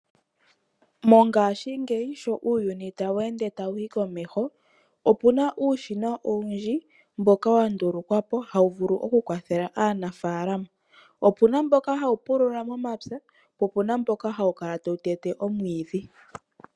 Mongaashingeyi sho uuyuni tawu ende tawu yi komeho, opu na uushina owundji mboka wa ndulukwa po, hawu vulu oku kwathela aanafaalama. Opu na mboka hawu pulula momapya, po opu na mboka hawu kala tawu tete oomwiidhi.